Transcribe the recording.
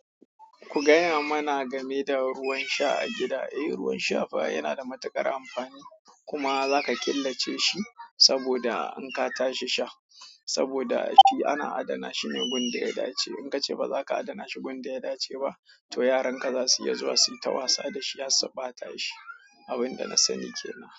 Ku gaya mana game da ruwan sha a gida. Eh, ruwan sha fa yana da matuƙar amfani, kuma za ka killace shi saboda in ka tashi sha. Saboda shi ana adana shi ne gun da ya dace. In ka ce ba za ka adana shi gun da ya dace ba to yaran ka za su iya zuwa su yi ta wasa da shi har su ɓata shi. Abin da na sani ke nan.